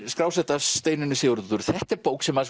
skrásett af Steinunni Sigurðardóttur þetta er bók sem